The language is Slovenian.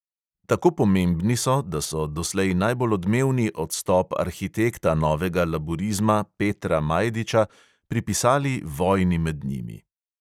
Tako pomembni so, da so doslej najbolj odmevni odstop arhitekta novega laburizma petra majdiča pripisali vojni med njimi.